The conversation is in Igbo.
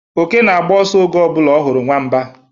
Oke na-agba ọsọ oge ọ bụla ọ hụrụ Nwamba